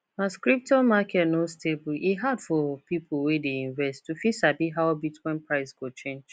as crypto market no stable e hard for people wey dey invest to fit sabi how bitcoin price go change